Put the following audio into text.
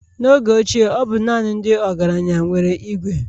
n'oge ochie ọ bụ naanị ndị ọgaranya nwere Ìgwè